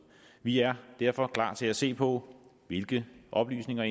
vi er derfor klar til at se på hvilke oplysninger